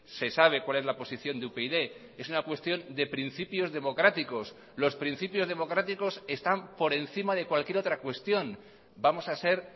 se sabe cuál es la posición de upyd es una cuestión de principios democráticos los principios democráticos están por encima de cualquier otra cuestión vamos a ser